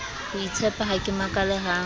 hoitshepa ha ke makale ha